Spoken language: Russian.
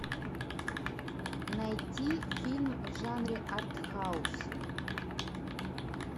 найти фильм в жанре арт хаус